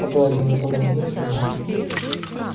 погладил её по голове сказал